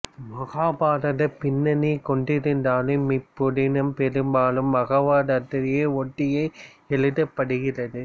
மகாபாரதப் பின்னணி கொண்டிருந்தாலும் இப்புதினம் பெரும்பாலும் பாகவதத்தை ஒட்டியே எழுதப்படுகிறது